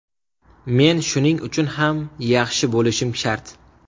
Men shuning uchun ham yaxshi bo‘lishim shart.